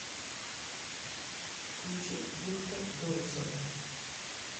включи бухта доусона